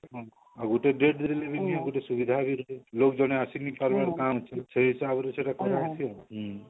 ଆଉ ଗୁଟେ ଗୁଟେ ସୁବିଧା ବି ଜେନ ଆସିନୀ କାଣା ହେଇଛି ସେ ତାର ଆହୁରି ସେଟା ଆସୁଛି ଆଉ ହଁ